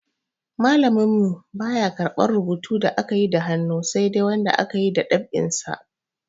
Malamin mu baya karɓar rubutu da akayi da hannu sai dai wanda aka yi dab'in sa.